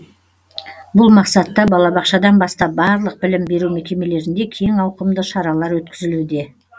бұл мақсатта балабақшадан бастап барлық білім беру мекемелерінде кең ауқымды шаралар өткізілуде